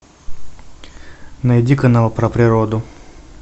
найди канал про природу